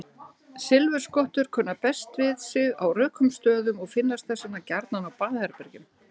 Silfurskottur kunna best við sig á rökum stöðum og finnast þess vegna gjarnan á baðherbergjum.